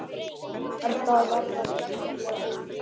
Þú ert að verða gersamlega óþolandi!